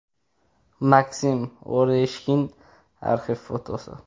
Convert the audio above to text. Maksim Oreshkin (arxiv fotosi).